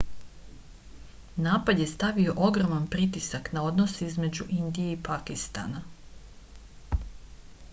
napad je stavio ogroman pritisak na odnose između indije i pakistana